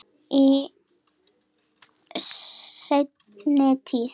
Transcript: Í seinni tíð.